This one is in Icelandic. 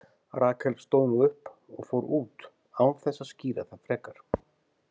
Rakel stóð nú upp og fór út án þess að skýra það frekar.